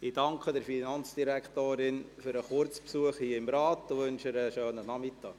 Ich danke der Finanzdirektorin für den Kurzbesuch hier im Rat und wünsche ihr einen schönen Nachmittag.